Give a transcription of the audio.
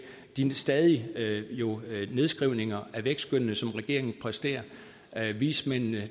de stadige nedskrivninger af vækstskønnene som regeringen præsterer der er vismændene